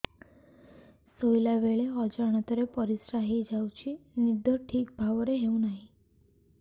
ଶୋଇଲା ବେଳେ ଅଜାଣତରେ ପରିସ୍ରା ହୋଇଯାଉଛି ନିଦ ଠିକ ଭାବରେ ହେଉ ନାହିଁ